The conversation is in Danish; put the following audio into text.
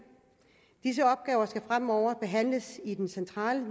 disse opgaver skal fremover behandles i den centrale